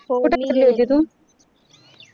कुठं फिरली होती तू?